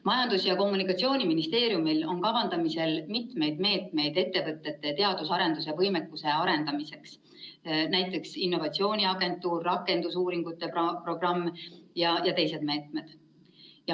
Majandus‑ ja Kommunikatsiooniministeeriumil on kavandamisel mitu meedet ettevõtete teadus‑ ja arendusvõimekuse arendamiseks, näiteks innovatsiooniagentuur, rakendusuuringute programm ja teised meetmed.